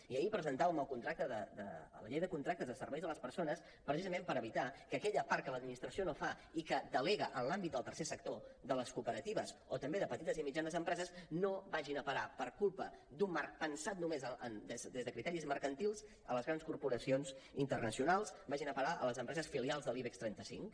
i ahir presentàvem la llei de contractes de serveis a les persones precisament per evitar que aquella part que l’administració no fa i que delega en l’àmbit del tercer sector de les cooperatives o també de petites i mitjanes empreses no vagi a parar per culpa d’un marc pensat només des de criteris mercantils a les grans corporacions internacionals vagin a parar a les empreses filials de l’ibex trenta cinc